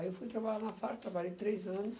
Aí eu fui trabalhar numa fábrica, trabalhei três anos,